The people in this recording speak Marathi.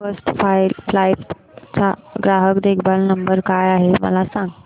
फर्स्ट फ्लाइट चा ग्राहक देखभाल नंबर काय आहे मला सांग